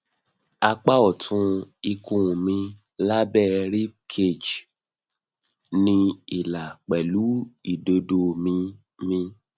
apa ọtún ikun mi labẹ ribcage ni ila pẹlu idodo mi mi